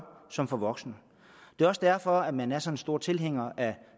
som for voksne det er også derfor man er så stor tilhænger af